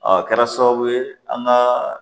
Ɔ kɛra sababu ye an ka